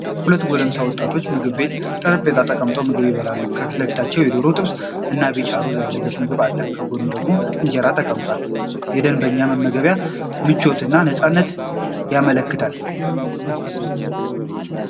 ሁለት ጎልማሳ ወንዶች በምግብ ቤት ጠረጴዛ ተቀምጠው ምግብ ይበላሉ። ከፊት ለፊታቸው የዶሮ ጥብስ እና ቢጫ ሩዝ ያለበት ምግብ አለ፤ ከጎኑ ደግሞ እንጀራ ተቀምጧል። የደንበኛው የመመገብ ምቾት እና ነፃነት ይመለከታል።